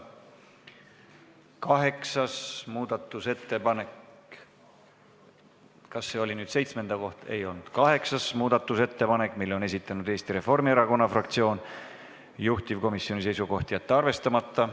Kaheksanda muudatusettepaneku on esitanud Eesti Reformierakonna fraktsioon, juhtivkomisjoni seisukoht: jätta see arvestamata.